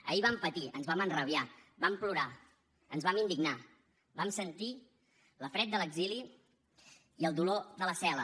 ahir vam patir ens vam enrabiar vam plorar ens vam indignar vam sentir la fred de l’exili i el dolor de la cel·la